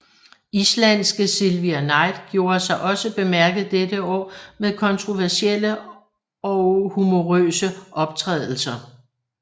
Islandske Silvia Night gjorde sig også bemærket dette år med kontroversielle og humorøse optrædelser